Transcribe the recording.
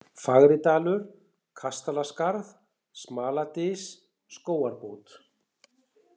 Fagridalur, Kastalaskarð, Smaladys, Skógarbót